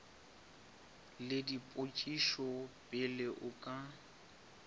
le dipotšišo pele o ka